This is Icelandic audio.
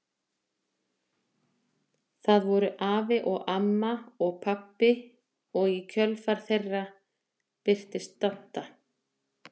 Það voru afi og amma og pabbi og í kjölfar þeirra birtist Dadda.